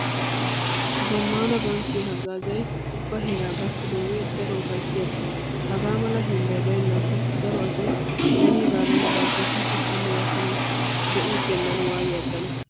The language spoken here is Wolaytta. Zammaana bankkiya haggaazay ubba heeraa gakkidoogee daro ufayssiyaba. Hagaa mala hiillay baynnaakko daro asay beniigaadan barchchetiiddi hanno gakkanawu de'iiggennan waayidi aggana.